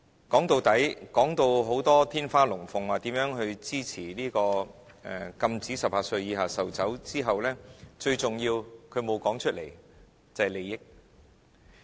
說到底，說得天花亂墜，說如何支持禁止18歲以下售酒之後，他沒有說出最重要的一點，便是利益。